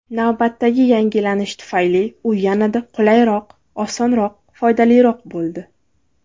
Navbatdagi yangilanish tufayli u yanada qulayroq, osonroq, foydaliroq bo‘ldi!